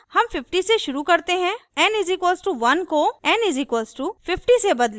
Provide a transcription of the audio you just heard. अतः हम 50 से शुरू करते हैं n = 1 को n = 50 से बदलें